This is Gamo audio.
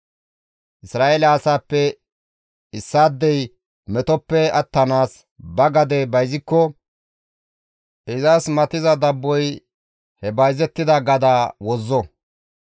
Isra7eele asaappe issaadey metoppe attanaas ba gade bayzikko izas matiza dabboy he bayzettida gadaa wozzo.